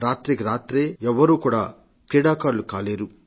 రాత్రికి రాత్రే ఎవరూ క్రీడాకారులు కాలేరు